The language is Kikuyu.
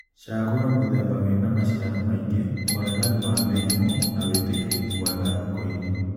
cagūra mūthemba wīna maciaro maingi, ūregani wa mīrīmū na wītīkīrīkū mwega thokoīnī